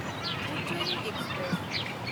Ujjayini express